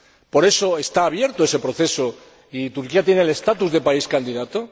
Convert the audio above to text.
Por eso está abierto ese proceso y Turquía tiene el estatus de país candidato.